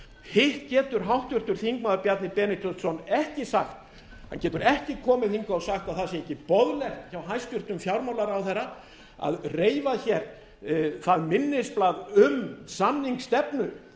hitt getur háttvirtur þingmaður bjarni benediktsson ekki sagt hann getur ekki komið hingað og sagt að það sé ekki boðlegt af hæstvirtum fjármálaráðherra að reifa hér það minnisblað um samningsstefnu